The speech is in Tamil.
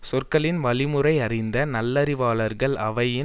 சொற்களின் வழிமுறையறிந்த நல்லறிவாளர்கள் அவையின்